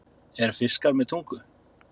Eru fiskar með tungu?